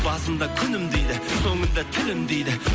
басында күнім дейді соңында тілім дейді